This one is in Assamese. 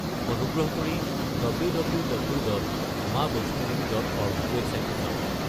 অনুগ্ৰহ কৰি www.maavaishnodevi.org ৱেবছাইটটো চাওক।